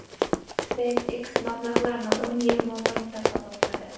SpaceX mablag‘larni o‘n yil mobaynida qabul qiladi.